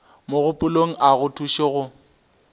mogopolong a go thuše go